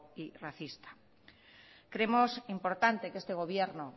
y racista creemos importante que este gobierno